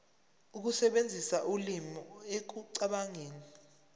ukusebenzisa ulimi ekucabangeni